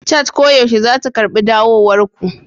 Chat koyaushe za ta karɓi dawowar ku.